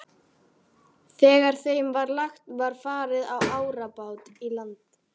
Þegar þeim var lagt var farið á árabát í land.